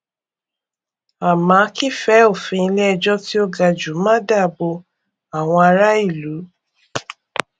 à má kí fẹ òfin ilé ejò tí ó ga jù má dá bò àwọn ará ìlú